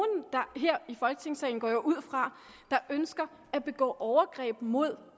her i folketingssalen går jeg ud fra der ønsker at begå overgreb mod